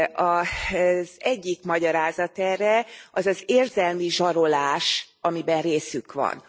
Az egyik magyarázat erre, az az érzelmi zsarolás, amiben részük van.